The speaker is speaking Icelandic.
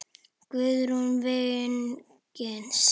Guðrún Vignis.